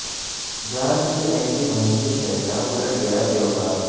جان کی ایسی مہنگی شے کا الٹ گیا بیوپار